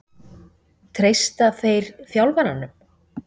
Treysta þeir þjálfaranum?